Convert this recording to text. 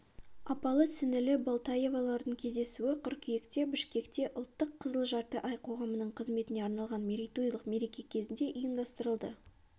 апалы-сіңілі болтоевалардың кездесуі қыркүйекте бішкекте ұлттық қызыл жарты ай қоғамының қызметіне арналған мерейтойлық мереке кезінде ұйымдастырылды